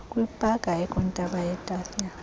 kwipaka ekwintaba yetafile